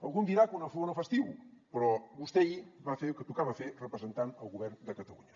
algú em dirà que una flor no fa estiu però vostè ahir va fer el que tocava fer representant el govern de catalunya